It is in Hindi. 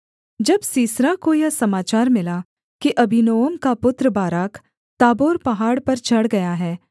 जब सीसरा को यह समाचार मिला कि अबीनोअम का पुत्र बाराक ताबोर पहाड़ पर चढ़ गया है